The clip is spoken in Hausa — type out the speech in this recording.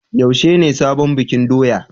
Yaushe ne sabon bikin doya?